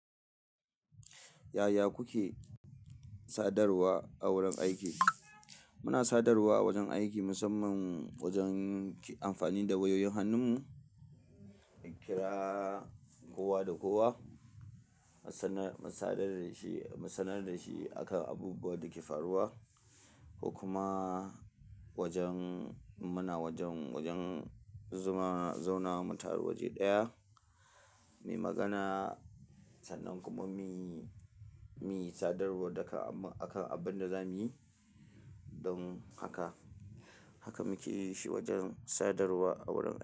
Yaya kuke sadarwa a wurin aiki? Muna sadarwa a wajen aiki musamman wajen ki amfani da wayoyin hannun mu, kira kowa da kowa, musannar, mu sadar da shi, mu sannar da shi akan abubuwan da ke faruwa. Kuma wajen muna wajen, wajen zuma zauna mu taru waje ɗaya, muyi magana sannan kuma muyi, muyi sadarwa daga akan abun da zamuyi. Don haka, haka muke yi shi wajen sadarwa a wurin.